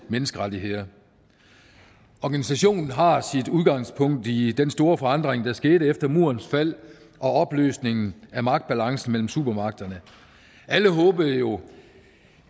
menneskerettigheder organisationen har sit udgangspunkt i den store forandring der skete efter murens fald og opløsningen af magtbalancen mellem supermagterne alle håbede jo